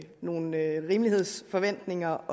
nogle rimelighedsforventninger